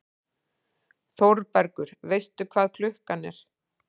ÞÓRBERGUR: Veistu hvað klukkan er?